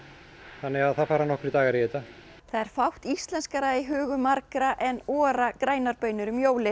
þannig að það fara nokkrir dagar í þetta það er fátt íslenskara í hugum margra en grænar baunir um jólin